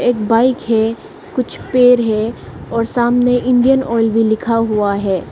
एक बाइक है कुछ पेड़ है और सामने इंडियन ऑयल भी लिखा हुआ है।